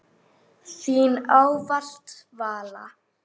Þín ávallt, Vala.